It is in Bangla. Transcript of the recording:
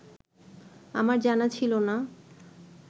আমার জানা ছিল না